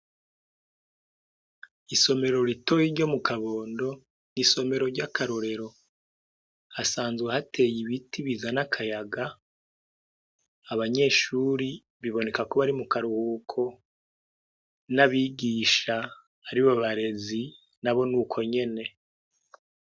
Isomero ritoyi ryo mu kabondo ni isomero ry'akarorero. Hasanzwe hateye ibiti bizana akayaga. Abanyeshuri biboneka ko bari mu karuhuko, n'abigisha aribo barezi nabo ni uko nyene.